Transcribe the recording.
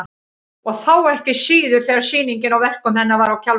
Og þá ekki síður þegar sýningin á verkum hennar var á Kjarvalsstöðum.